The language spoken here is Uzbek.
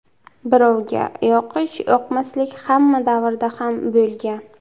Birovga yoqish-yoqmaslik hamma davrda ham bo‘lgan.